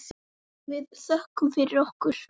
Við þökkum fyrir okkur.